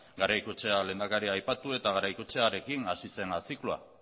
garaikoetxea lehendakaria aipatu eta garaikoetxearekin hasi zena zikloa